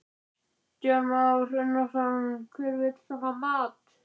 Kristján Már Unnarsson: Hver vill svona mat?